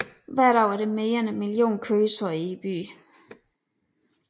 Hver dag er der mere end en million køretøjer i byen